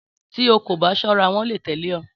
Tí o kò bá ṣọ́ra, wọ́n lè tẹ̀lé ọ